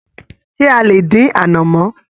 Ṣe a lè dín anamọ?